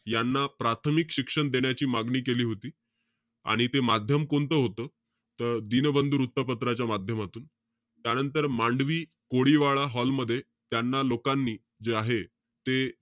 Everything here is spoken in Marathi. यांना प्राथामिक शिक्षण देण्याची मागणी केली होती. आणि ते माध्यम कोणतं होतं? त दीनबंधू वृत्तपत्राच्या माध्यमातून. त्यानंतर मांडवी कोळीवाडा हॉल मध्ये, त्यांना लोकांनी जे आहे ते,